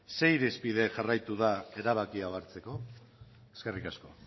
ze irizpide jarraitu da erabaki hau hartzeko eskerrik asko